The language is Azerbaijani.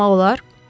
Baxmaq olar?